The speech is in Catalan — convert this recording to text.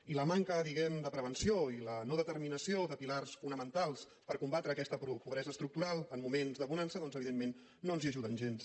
i la manca diguem ne de prevenció i la no determinació de pilars fonamentals per combatre aquesta pobresa estructural en moments de bonança doncs evidentment no ens hi ajuden gens